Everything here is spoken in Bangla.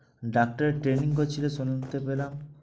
ডাক্তারের training করছিলে শুনতে পেলাম?